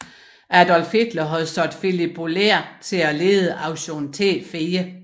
Adolf Hitler havde sat Philipp Bouhler til at lede Aktion T4